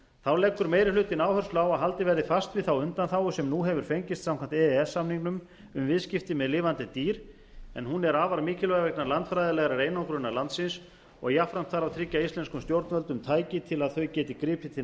þá leggur meiri hlutinn áherslu á að haldið verði fast við þá undanþágu sem nú hefur fengist samkvæmt e e s samningnum um viðskipti með lifandi dýr en hún er afar mikilvæg vegna landfræðilegrar einangrunar landsins og jafnframt þarf að tryggja íslenskum stjórnvöldum tæki til að þau geti gripið til